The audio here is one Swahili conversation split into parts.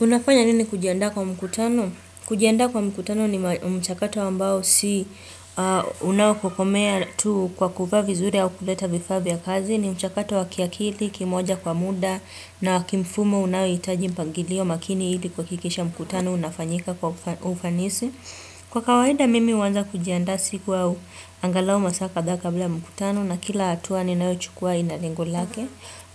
Unafanya nini kujiandaa kwa mkutano? Kujiandaa kwa mkutano ni mchakato ambao si unaokukomea tu kwa kuvaa vizuri au kuleta vifaa vya kazi. Ni mchakato wa kiakili, kimoja kwa muda na wa kimfumo unaohitaji mpangilio makini ili kuhakikisha mkutano unafanyika kwa ufanisi. Kwa kawaida mimi huanza kujiandaa siku au angalau masaa kadhaa kabla ya mkutano na kila hatua ninayochukuwa ina lengo lake.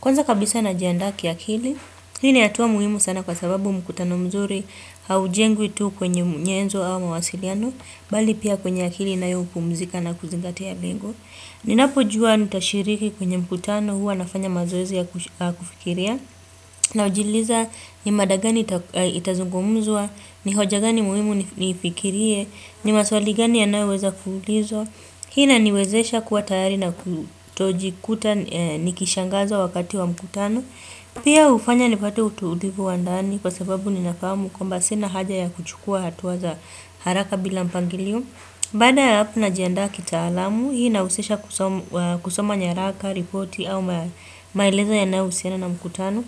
Kwanza kabisa najiandaa kiakili, hii ni hatua muhimu sana kwa sababu mkutano mzuri haujengwi tu kwenye nyenzo au mawasiliano, bali pia kwenye akili inayopumzika na kuzingatia lengo. Ninapojua nitashiriki kwenye mkutano huwa nafanya mazoezi ya kufikiria, najiuliza ni mada gani itazungumzwa, ni hoja gani muhimu niifikirie, ni maswali gani yanayoweza kuulizwa. Hii inaniwezesha kuwa tayari na kutojikuta nikishangazwa wakati wa mkutano. Pia hufanya nipate utulivu wa ndani kwa sababu ninafahamu kwamba sina haja ya kuchukuwa hatua za haraka bila mpangilio. Baada ya hapo najiandaa kitaalamu, hii inahusisha kusoma nyaraka, ripoti au maelezo yanayohusiana na mkutano.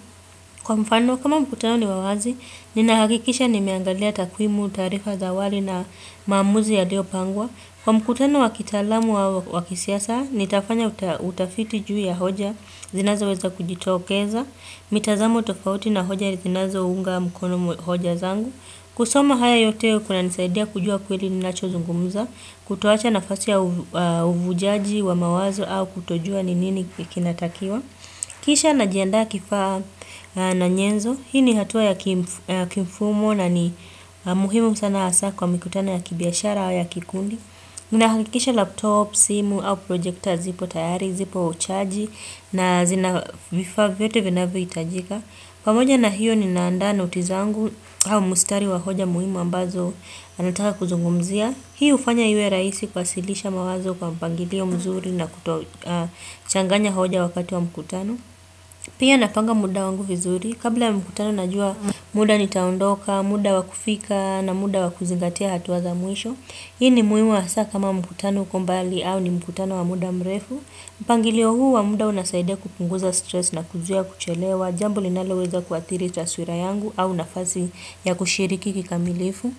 Kwa mfano, kama mkutano ni wa wazi, ninahakikisha nimeangalia takwimu, taarifa za awali na maamuzi yaliyopangwa. Kwa mkutano wa kitaalamu au wa kisiasa, nitafanya utafiti juu ya hoja, zinazoweza kujitokeza, mitazamo tofauti na hoja zinazounga mkono hoja zangu. Kusoma haya yote kunanisaidia kujua kweli ninachozungumza, kutoacha nafasi ya uvujaji wa mawazo au kutojua ni nini kinatakiwa. Kisha najiandaa kifaa na nyenzo. Hii ni hatua ya kimfumo na ni muhimu sana hasa kwa mikutano ya kibiashara au ya kikundi. Ninahakikisha laptop, simu au projekta zipo tayari, zipo chaji na zina vifaa vyote vinavyohitajika. Pamoja na hiyo ninaandaa noti zangu au mstari wa hoja muhimu ambazo anataka kuzungumzia. Hii hufanya iwe rahisi kuwasilisha mawazo kwa mpangilio mzuri na kutochanganya hoja wakati wa mkutano. Pia napanga muda wangu vizuri. Kabla ya mkutano najua muda nitaondoka, muda wa kufika na muda wa kuzingatia hatua za mwisho. Hii ni muhimu hasa kama mkutano uko mbali au ni mkutano wa muda mrefu. Mpangilio huu wa muda unasaidia kupunguza stress na kuzuia kuchelewa. Jambo linaloweza kuathiri taswira yangu au nafasi ya kushiriki kikamilifu.